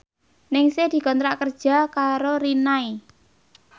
Ningsih dikontrak kerja karo Rinnai